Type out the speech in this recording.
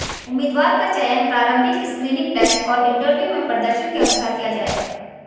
उम्मीदवार का चयन प्रारंभिक स्क्रीनिंग टेस्ट और इंटरव्यू में प्रदर्शन के अनुसार किया जाएगा